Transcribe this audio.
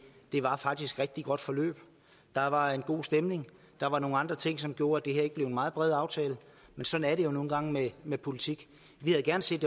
var faktisk et rigtig godt forløb der var en god stemning der var nogle andre ting som gjorde at det her ikke blev en meget bred aftale men sådan er det jo nu engang med politik vi havde gerne set